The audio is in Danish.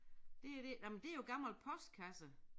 Det er det men nej men det jo gammel postkasse